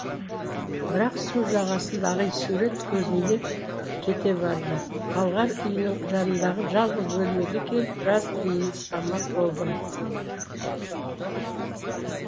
бірақ су жағасындағы сурет көзімде кете барды талғар үйінің жанындағы жалғыз бөлмеме келіп біраз тыныстамақ болдым